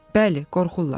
Bəli, qorxurlar.